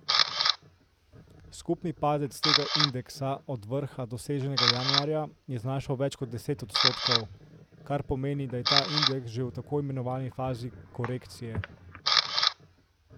Skupni padec tega indeksa, od vrha, doseženega januarja, je znašal več kot deset odstotkov, kar pomeni, da je ta indeks že v tako imenovani fazi korekcije.